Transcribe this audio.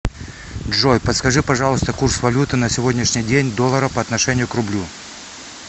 джой подскажи пожалуйста курс валюты на сегодняшний день доллара по отношению к рублю